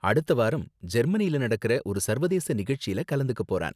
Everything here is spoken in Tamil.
அடுத்த வாரம் ஜெர்மனியில நடக்கற ஒரு சர்வதேச நிகழ்ச்சில கலந்துக்க போறான்.